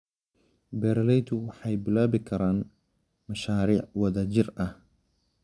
Beeraleydu waxay bilaabi karaan mashaariic wadajir ah.